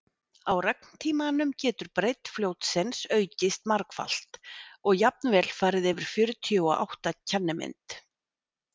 á regntímanum getur breidd fljótsins aukist margfalt og jafnvel farið yfir fjörutíu og átta kennimynd